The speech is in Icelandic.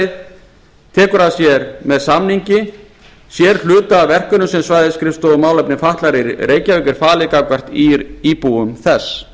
styrktarfélagið tekur með samningi að sér hluta af verkefnum sem svæðisskrifstofu málefna fatlaðra í reykjavík er falið gagnvart íbúum þess